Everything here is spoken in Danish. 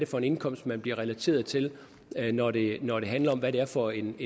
for en indkomst man bliver relateret til når det når det handler om hvad det er for en